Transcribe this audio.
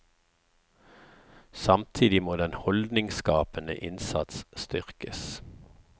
Samtidig må den holdningsskapende innsats styrkes.